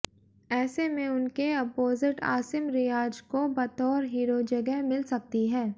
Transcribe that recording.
ऐसे में उनके अपोसिट आसिम रियाज को बतौर हीरो जगह मिल सकती है